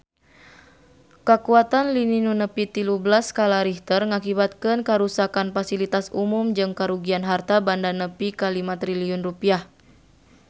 Kakuatan lini nu nepi tilu belas skala Richter ngakibatkeun karuksakan pasilitas umum jeung karugian harta banda nepi ka 5 triliun rupiah